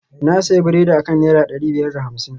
na sayi biredi akan naira dari biyar da hamsin